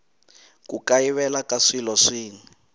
ku kayivela ka swilo swin